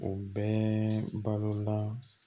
O bɛɛ balola